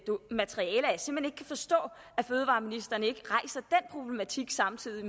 kan forstå at fødevareministeren ikke samtidig